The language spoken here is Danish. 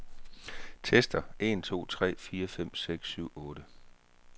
Tester en to tre fire fem seks syv otte.